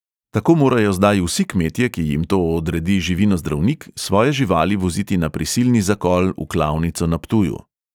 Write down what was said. Tako morajo zdaj vsi kmetje, ki jim to odredi živinozdravnik, svoje živali voziti na prisilni zakol v klavnico na ptuju.